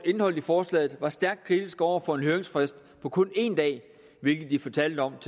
indholdet i forslaget var stærkt kritiske over for en høringsfrist på kun en dag hvilket de fortalte om